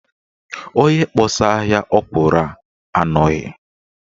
Onye kpọsaa ahịa ọkwụrụ a anọghị.